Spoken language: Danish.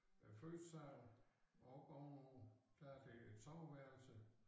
Øh første sal og oppe ovenover der det et soveværelse